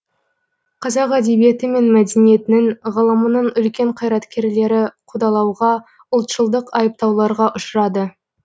қазақ әдебиеті мен мәдениетінің ғылымының үлкен қайраткерлері қудалауға ұлтшылдық айыптауларға ұшырады